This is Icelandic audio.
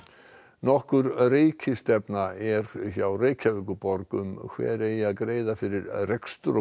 nokkur rekistefna er hjá Reykjavíkurborg um hver eigi að greiða fyrir rekstur og